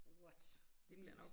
What vildt